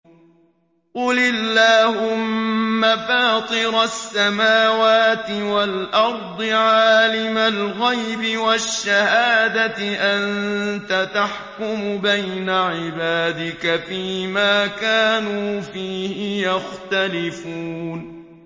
قُلِ اللَّهُمَّ فَاطِرَ السَّمَاوَاتِ وَالْأَرْضِ عَالِمَ الْغَيْبِ وَالشَّهَادَةِ أَنتَ تَحْكُمُ بَيْنَ عِبَادِكَ فِي مَا كَانُوا فِيهِ يَخْتَلِفُونَ